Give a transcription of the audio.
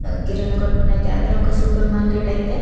కిరాణా కొట్టు నుండి అయితే అదే సూపర్ మార్కెట్ అయితే --